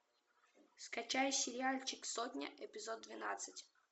скачай сериальчик сотня эпизод двенадцать